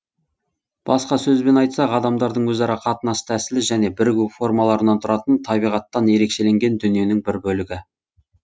басқа сөзбен айтсақ адамдардың өзара қатынас тәсілі және бірігу формаларынан тұратын табиғаттан ерекшеленген дүниенің бір бөлігі